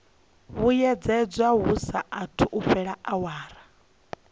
vhuyedzedzwa hu saathu fhela awara